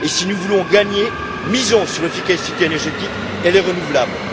Si nous voulons gagner, misons sur l'efficacité énergétique, elle est renouvelable.